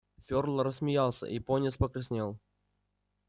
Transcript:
фёрл рассмеялся и пониетс покраснел